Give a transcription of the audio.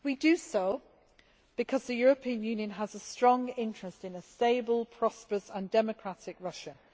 We do so because the European Union has a strong interest in a stable, prosperous and democratic Russia.